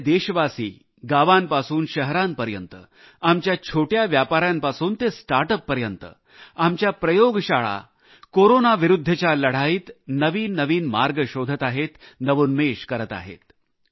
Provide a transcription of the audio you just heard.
सगळे देशवासी गावांपासून शहरांपर्यंत आमच्या छोट्या व्यापाऱ्यांपासून ते स्टार्टअप पर्यंत आमच्या प्रयोगशाळा कोरोना विरुद्धच्या लढाईत नवीन नवीन मार्ग शोधत आहेत नवोन्मेश करत आहेत